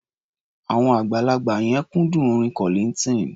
Àwọn àgbàlagbà yẹn kúndùn orin Kollignton.